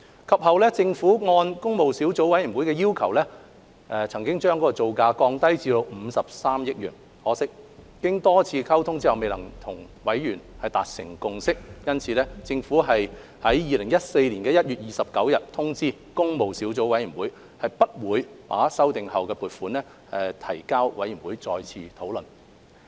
及後，政府按工務小組委員會要求將造價降低至53億元，可惜經多次溝通後仍未能由委員達成共識，因此政府於2014年1月29日通知工務小組委員會不會把修訂後的撥款建議提交委員會再次討論。